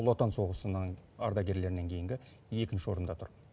ұлы отан соғысының ардагерлерінен кейінгі екінші орында тұр